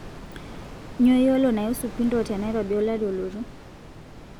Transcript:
nyoo iyiolo naiusu pindo tenairobi olari olotu